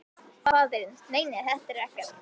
Faðirinn: Nei nei, þetta er ekkert.